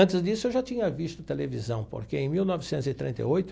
Antes disso, eu já tinha visto televisão, porque em mil novecentos e trinta e oito.